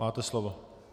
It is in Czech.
Máte slovo.